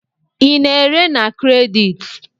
Ị na-ere na kredit?